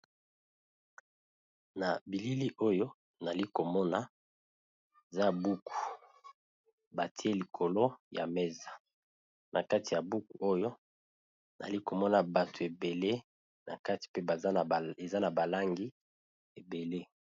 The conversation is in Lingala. Na bilili oyo nali komona za buku batie likolo ya mesa na kati ya buku oyo nazali komona batu ebele na kati pe eza na balangi ebele.